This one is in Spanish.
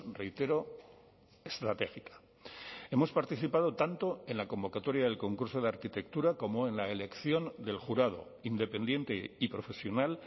reitero estratégica hemos participado tanto en la convocatoria del concurso de arquitectura como en la elección del jurado independiente y profesional